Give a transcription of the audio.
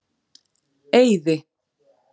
Eiði